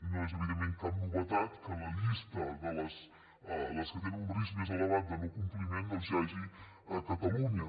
no és evidentment cap novetat que en la llista de les que tenen un risc més elevat de no compliment hi hagi catalunya